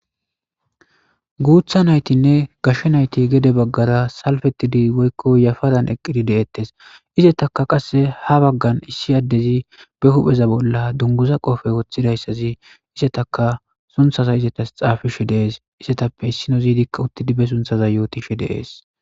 Guutha naytinne gashshe nayti gede baggara salfetidi woykko yafadan eqqiri deettes isetaka qasse ha baggan issi addezi be hupheza bolla dunguza qoofey woththidayssazi isetaka sunthaza izetas xaafishe deees isetappe issino ziidikka uttidibe sunthaza yootishe deees